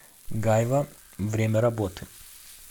гайва время работы